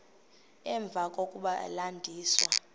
emva kokuba landisiwe